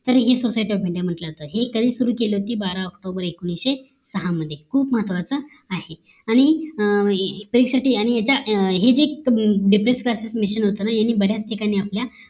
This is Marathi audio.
तरी हि society of india म्हंटल तर हे कधी सुरु केली होती बारा ऑक्टोबर एकोणीशे सहा मध्ये खूप महत्वाचं आहे आणि परीक्षेसाठी आणि एकदा याच् हि depress CLASSES machin होत ना ह्यांनी बऱ्याच ठिकाणी आपल्या